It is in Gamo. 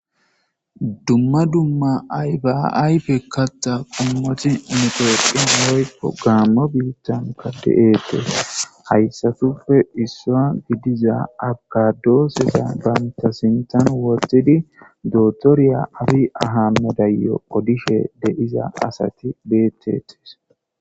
Dumma dumma ayfa yfe katha qomot gamo bitanka de'etes haysatuppe issa gidiza abokado banta sinthan wothidine dokitere abiy ahimedeyo odishe de'za asat betetes.